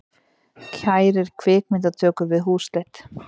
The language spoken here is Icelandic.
Kærir myndatökur við húsleit